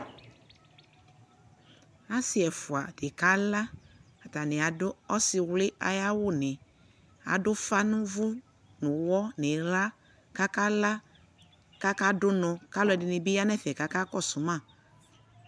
asii ɛƒʋa dikala, atani adʋ ɔsiiwli ayi awʋni, adʋ ʋƒa nʋ ʋvʋ nʋ ʋwɔ nʋ illa kʋ aka la kʋ aka dʋnɔ, kʋalʋɛdini bi yanʋ ɛƒɛ kʋ aka kɔsʋ ma